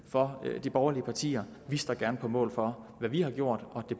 for de borgerlige partier vi står gerne på mål for hvad vi har gjort og at